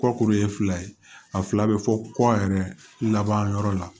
Kɔkuru ye fila ye a fila be fɔ kɔ yɛrɛ laban yɔrɔ la